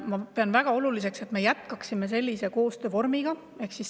Ma pean väga oluliseks, et me sellist koostöövormi jätkaksime.